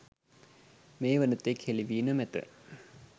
මේ වනතෙක් හෙළිවී නොමැත